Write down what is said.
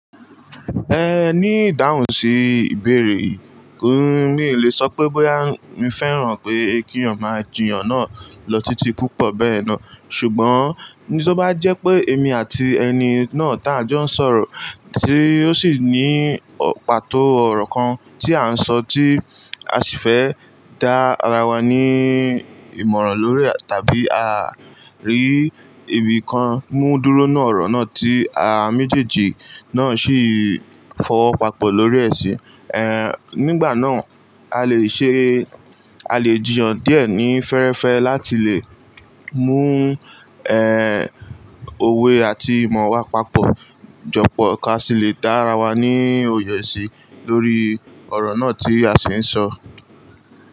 Ẹ ní ìdáhùn sí ìbéèrè yìí. Mí le sọ pé bóyá mi fẹ́ràn pé kí èèyàn máa jiyàn náà lọ títí púpọ̀ bẹ́ẹ̀ náà. Ṣùgbọ́n tó bá jẹ́ pé èmi àti ẹni náà tá a jọ ń sọ̀rọ̀ tí ó sì ní pàtó ọ̀rọ̀ kan tí à ń sọ tí a sì fẹ́ dá ara wa ní ìmọ̀ràn lórí ẹ̀ tàbí à rí ibi kan mú dúró nínú ọ̀rọ̀ náà tí a méjèèjì náà sì fọwọ́ papọ̀ lórí ẹ̀ ṣì. Ẹ nígbà náà, a lè ṣe, a lè jìyàn díẹ̀ ní fẹ́ẹ́rẹ́fẹ́ láti lè mú òwe àti ìmọ̀ wa papọ̀ jọ pọ̀ ká sì lè dá ara wa ní òye sí lórí ọ̀rọ̀ náà tí a sì ń sọ.